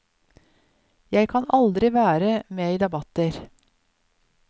Jeg kan aldri være med i debatter.